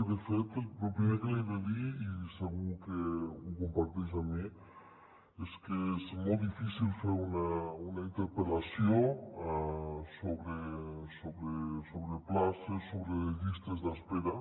i de fet lo primer que li he de dir i segur que ho comparteix amb mi és que és molt difícil fer una interpel·lació sobre places sobre llistes d’espera